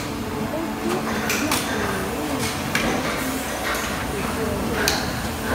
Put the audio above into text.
ó tú àṣírí apò rẹ̀ lẹ́yìn títẹ̀ sí ètò ọjọ́ iwájú